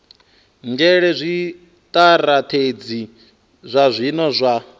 nzhele zwitirathedzhi zwa zwino zwa